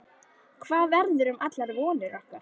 Hvað verður um allar vonir okkar?